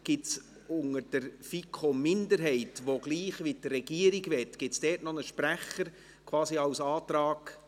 Gibt es von der FiKo-Minderheit, die dasselbe will wie die Regierung, noch einen Sprecher, quasi als Antragsredner?